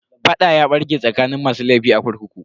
Fada ya barke tsakanin masu laifin a kurkukun.